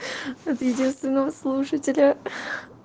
от единственного слушателя